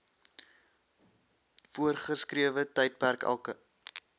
voorgeskrewe tydperk elke